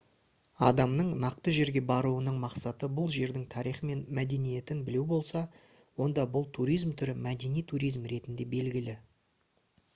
адамның нақты жерге баруының мақсаты бұл жердің тарихы мен мәдениетін білу болса онда бұл туризм түрі мәдени туризм ретінде белгілі